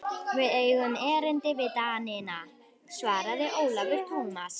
Við eigum erindi við Danina, svaraði Ólafur Tómasson.